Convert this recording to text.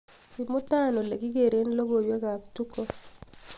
imutan olegigeren logoiwek ab tuko